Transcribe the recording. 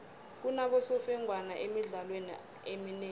kunabosemfengwana emidlalweni eminengi